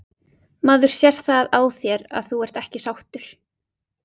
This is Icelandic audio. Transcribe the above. Maður sér það á þér að þú ert ekki sáttur?